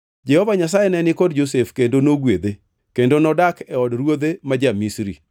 Jehova Nyasaye ne ni kod Josef kendo nogwedhe, kendo nodak e od ruodhe ma ja-Misri.